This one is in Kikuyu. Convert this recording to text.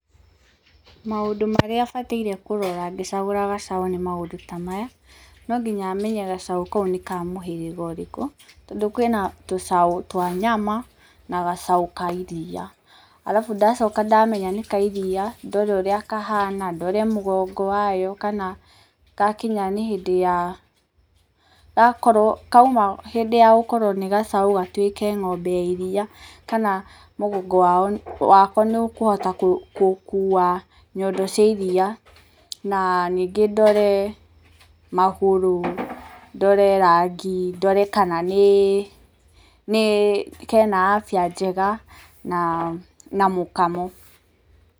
Maũndũ marĩa bataire kũrora ngĩcagũra gacaũ nĩ maũndũ ta maya, no nginya menye gacaũ kau nĩ ka mũhĩrĩga ũrĩkũ, tondũ kwĩna tũcaũ twa nyama na gacaũ ka iriia. Arabu ndacoka ndamenya nĩ ka iriia, ndore ũrĩa kahana, ndore ũrĩa mũgongo wayo kana gakinya nĩ hĩndĩ ya, kauma hĩndĩ ya gũkorwo nĩ gacaũ gatuĩke ng'ombe ya iriia, kana mũgongo wako nĩ ũkũhota gũkuua nyondo cia iriia na ningĩ ndore magũrũ, ndore rangi, ndore kana nĩ kena afya njega, na mũkamo.